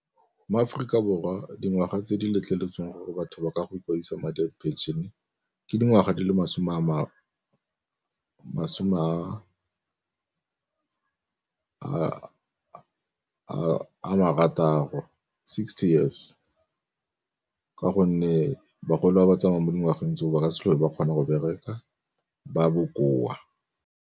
Mo Aforika Borwa dingwaga tse di letleletsweng gore batho ba ka go ikwadisa madi a phenšene ke dingwaga di le masome a marataro, sixty years ka gonne bagolo ba ba tsamayang mo dingwageng tseo ba ka se tlhole ba kgona go bereka ba bokoa.